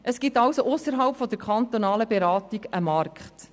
Es existiert also ausserhalb der kantonalen Beratung ein Markt.